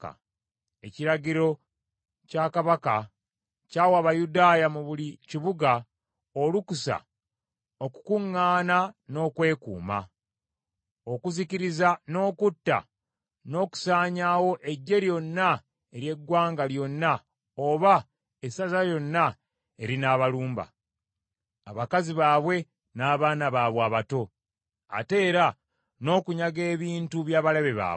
Ekiragiro kya Kabaka ky’awa Abayudaaya mu buli kibuga olukusa okukuŋŋaana n’okwekuuma; okuzikiriza, n’okutta, n’okusaanyaawo eggye lyonna ery’eggwanga lyonna oba essaza lyonna erinaabalumba, abakazi baabwe n’abaana baabwe abato, ate era n’okunyaga ebintu by’abalabe baabwe.